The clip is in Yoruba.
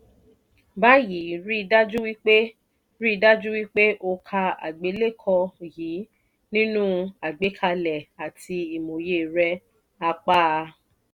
báyìí rí dájú wípé rí dájú wípé o ka àgbélékọ yìí nínú àgbékalẹ̀ àti ìmòye rẹ apa a.